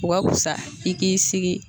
O ka kusa i k'i sigi.